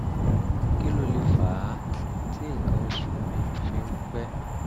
kí ló lè fà á tí nǹkan oṣù mi fi ń pẹ́?